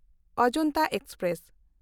Ajanta express